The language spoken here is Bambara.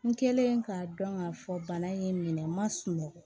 N kɛlen k'a dɔn k'a fɔ bana in minɛ ma sunɔgɔ